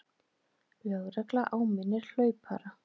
Lögregla áminnir hlaupara